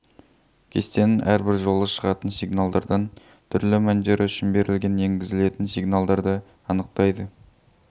кестенің әрбір жолы шығатын сигналдардаң түрлі мәндері үшін берілген еңгізілетін сигналдарды анықтайды